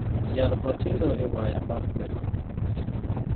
Yar matindo e waya mar gweno